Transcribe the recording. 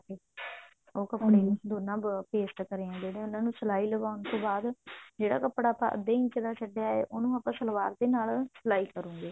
ਉਹ ਦੋਨਾ paste ਕਰੇ ਆ ਜਿਹੜੇ ਉਹਨਾ ਨੂੰ ਸਲਾਈ ਲਵਾਉਣ ਤੋਂ ਬਾਅਦ ਜਿਹੜਾ ਕੱਪੜਾ ਅੱਧੇ ਇੰਚ ਦਾ ਛੱਡਿਆ ਹੈ ਉਹਨੂੰ ਆਪਾਂ ਸਲਵਾਰ ਦੇ ਨਾਲ ਸਲਾਈ ਕਰਾਂਗੇ